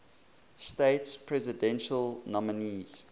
states presidential nominees